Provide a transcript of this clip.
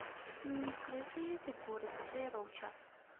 скрытые фигуры джей роуча